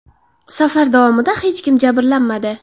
Safar davomida hech kim jabrlanmadi.